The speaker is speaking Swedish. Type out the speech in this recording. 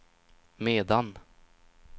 medan